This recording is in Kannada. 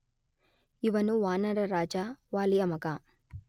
ಇವನು ವಾನರ ರಾಜ ವಾಲಿಯ ಮಗ.